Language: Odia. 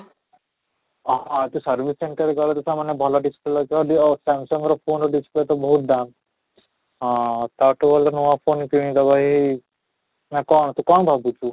ଅହଃ ତ service center ଗଲେ ତ ସେମାନେ ଭଲ display ଯଦିଓ Samsung ର phone ର display ତ ବହୁତ ଦାମ ହଁ, ତାଠୁ ଭଲ ନୂଆ phone କିଣି ଦେବା ହିଁ ନା କଣ ନା ତୁ କ'ଣ ଭାବୁଛୁ?